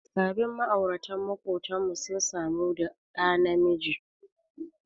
Sabin ma'aurata maƙotanmu sun samu ɗa namiji.